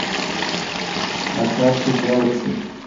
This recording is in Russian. на карте гэлэкси